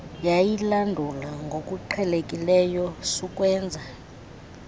yayilandula ngokuqhelekileyo sukwenza